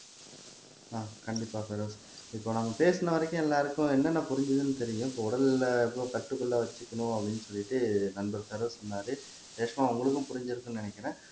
ஆஹ் கண்டிப்பா பெரோஸ் இப்போ நாங்க பேசின வரைக்கும் எல்லாருக்கும் என்னென்ன புரிஞ்சதுன்னு தெரியும் இப்போ உடல்லே கட்டுக்குள்ள வச்சு அப்படின்னு சொல்லிட்டு நண்பர் பெரோஸ் சொன்னாரு ரேஷ்மா உங்களுக்கும் புரிஞ்சிருக்கும்ன்னு நினைக்கிறேன்